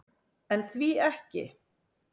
En því ekki?